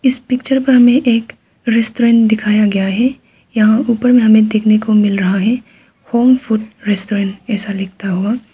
इस पिक्चर पर हमें एक रेस्टोरेंट दिखाया गया है यहां ऊपर में हमें देखने को मिल रहा है होम फूड रेस्टोरेंट ऐसा लिखता हुआ।